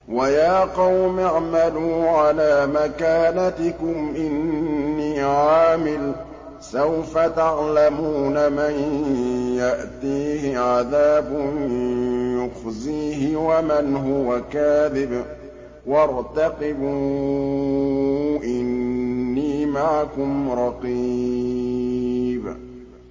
وَيَا قَوْمِ اعْمَلُوا عَلَىٰ مَكَانَتِكُمْ إِنِّي عَامِلٌ ۖ سَوْفَ تَعْلَمُونَ مَن يَأْتِيهِ عَذَابٌ يُخْزِيهِ وَمَنْ هُوَ كَاذِبٌ ۖ وَارْتَقِبُوا إِنِّي مَعَكُمْ رَقِيبٌ